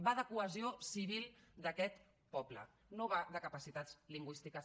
va de cohesió civil d’aquest poble no va de capacitats lingüístiques